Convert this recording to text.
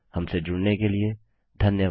हमसे जुड़ने के लिए धन्यवाद